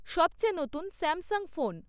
সবচেয়ে নতুন Samsung phone